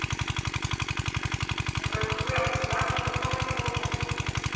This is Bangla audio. এটা ভেবে .